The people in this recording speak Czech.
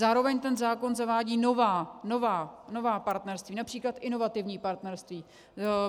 Zároveň ten zákon zavádí nová partnerství, například inovativní partnerství.